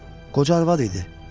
Qoca arvad idi.